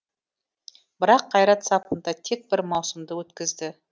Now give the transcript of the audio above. бірақ қайрат сапында тек бір маусымды өткізді